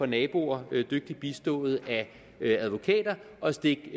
naboer dygtigt bistået af advokater at stikke